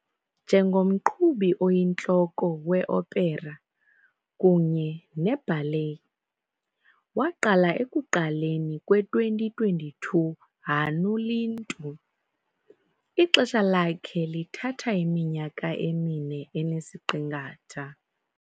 Njengomqhubi oyintloko we-opera kunye ne-ballet, waqala ekuqaleni kwe-2022 Hannu Lintu, ixesha lakhe lithatha iminyaka emine enesiqingatha.